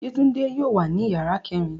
Yetunde yóò wa ni yara kẹrin